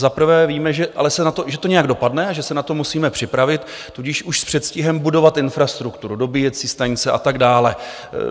Za prvé víme, že to nějak dopadne a že se na to musíme připravit, tudíž už s předstihem budovat infrastrukturu, dobíjecí stanice a tak dále.